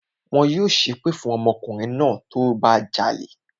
Wọn yóò ṣẹ́ èpè fún ọmọkùnrin náà tó bá jalè